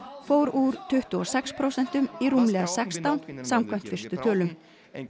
fór úr tuttugu og sex prósentum í rúmlega sextán samkvæmt fyrstu tölum